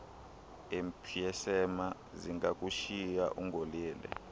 emphysema zingakushiya ungolele